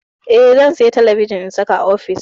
Eh, zan saya talabijin in saka a ofis.